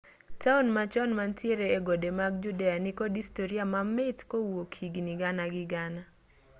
taon machon mantiere egode mag judea nikod historia mamit kowuok higni gana gi gana